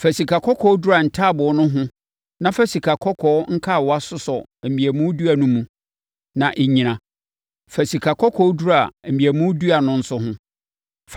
Fa sikakɔkɔɔ dura ntaaboo no ho na fa sikakɔkɔɔ nkawa sosɔ mmeamu dua no mu na ɛnnyina. Fa sikakɔkɔɔ dura mmeamu dua no nso ho.